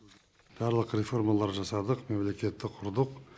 барлық реформалар жасадық мемлекетті құрдық